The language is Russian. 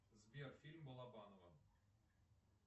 сбер фильм балабанова